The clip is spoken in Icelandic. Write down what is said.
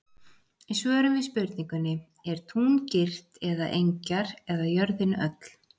Í svörum við spurningunni: Er tún girt eða engjar eða jörðin öll?